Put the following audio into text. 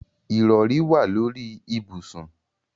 Ìrọrí wà lórí ibùsùn.